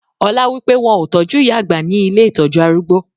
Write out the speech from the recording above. Ọlá wípé; wọn tọju ìyá àgbà ni ilé ìtọ́jú arúgbó.